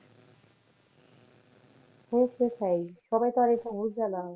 আরে সেটাই সবাই তো আর এটা বুঝে না।